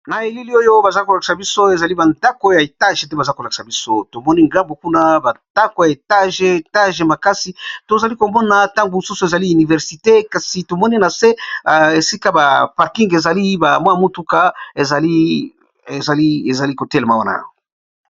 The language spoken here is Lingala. Na elili oyo baza kolakisa biso ezali ba ndako ya etage te baza kolakisa biso tomoni ngambu kuna ba ndako ya etage etage makasi tozali komona ntango mosusu ezali universite kasi tomoni na se esika ba parking ezali bamwa motuka ezali kotelema wana.